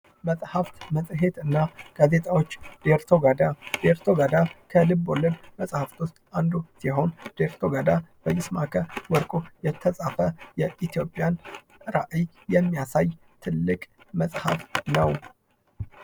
መጽሃፍት፣ መጽሔት እና ጋዜጣዎች ዴርቶጋዳ፤ ዴርቶጋዳ ከልብ ወለድ መጽሐፍት ውስጥ አንዱ ሲሆን ዴርቶጋዳ በይስማከ ወርቁ የተጻፈ የኢትዮጵያን ራኢይ የሚያሳይ ትልቅ መጽሐፍ ነው።